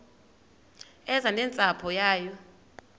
eze nentsapho yayo